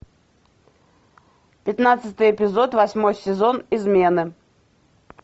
пятнадцатый эпизод восьмой сезон измены